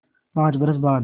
पाँच बरस बाद